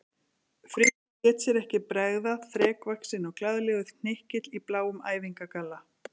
Frikki lét sér ekki bregða, þrekvaxinn og glaðlegur hnykill í bláum æfingagalla.